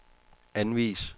anvis